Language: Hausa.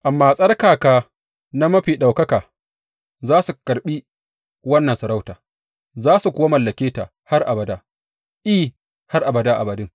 Amma tsarkaka na Mafi Ɗaukaka za su karɓi wannan sarauta, za su kuwa mallake ta har abada, I, har abada abadin.’